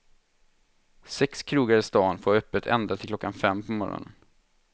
Sex krogar i stan får ha öppet ända till klockan fem på morgonen.